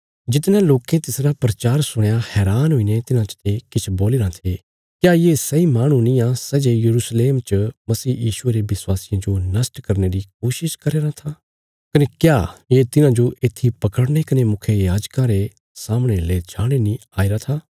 जितणयां लोकें तिसरा प्रचार सुणया हैरान हुईने तिन्हां चते किछ बोलीराँ थे क्या ये सैई माहणु नींआ सै जे यरूशलेम च मसीह यीशुये रे विश्वासियां जो नष्ट करने री कोशिश करया राँ था कने क्या ये तिन्हांजो येत्थी पकड़ने कने मुखियायाजकां रे सामणे ले जाणे नीं आईरा था